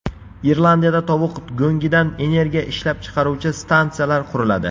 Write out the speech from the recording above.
Irlandiyada tovuq go‘ngidan energiya ishlab chiqaruvchi stansiyalar quriladi.